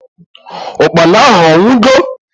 Ụkpana ahu awugo?